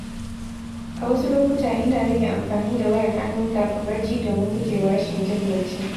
A wasu lokuta, ina rage amfani da wayar hannu kafin barci domin gujewa rashin jin bacci.